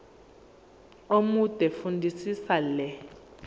omude fundisisa le